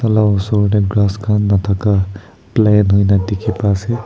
laosor tey gras khan nathaka plane hoina dekhi bai asa.